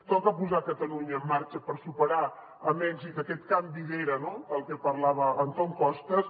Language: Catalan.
toca posar catalunya en marxa per superar amb èxit aquest canvi d’era no del que parlava antón costas